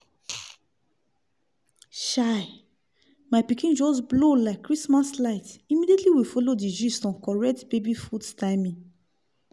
chai! my pikin just blow like christmas light immediately we follow the gist on correct baby food timing!